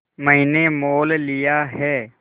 मैंने मोल लिया है